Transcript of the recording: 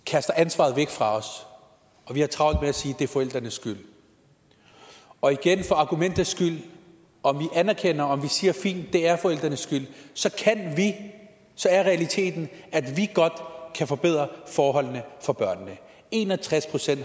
kaster ansvaret væk fra os og vi har travlt med at sige at det er forældrenes skyld og igen for argumentets skyld om vi anerkender om vi siger at fint det er forældrenes skyld så er realiteten at vi godt kan forbedre forholdene for børnene en og tres procent